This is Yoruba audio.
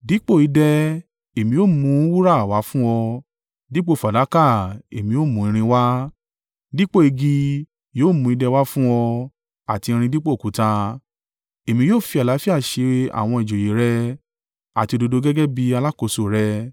Dípò idẹ, èmi ó mú wúrà wá fún ọ, dípò fàdákà èmi ó mú irin wá. Dípò igi yóò mú idẹ wá fún ọ, àti irin dípò òkúta. Èmi yóò fi àlàáfíà ṣe àwọn ìjòyè rẹ àti òdodo gẹ́gẹ́ bí alákòóso rẹ.